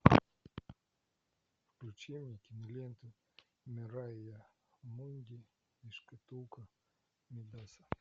включи мне киноленту мэрайа мунди и шкатулка мидаса